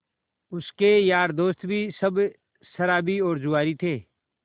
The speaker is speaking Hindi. उसके यार दोस्त भी सब शराबी और जुआरी थे